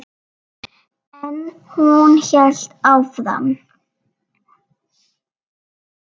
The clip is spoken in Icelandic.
En hún hélt áfram.